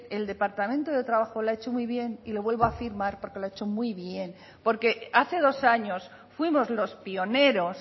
el departamento de trabajo lo ha hecho muy bien y lo vuelva a afirmar porque lo ha hecho muy bien porque hace dos años fuimos los pioneros